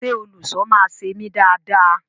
Ṣe olùṣọ máa ṣe emi dáa dáa?